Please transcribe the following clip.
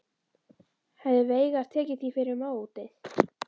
Hefði Veigar tekið því fyrir mótið?